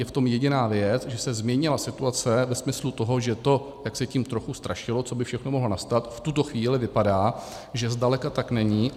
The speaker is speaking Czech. Je v tom jediná věc, že se změnila situace ve smyslu toho, že to, jak se tím trochu strašilo, co by všechno mohlo nastat, v tuto chvíli vypadá, že zdaleka tak není.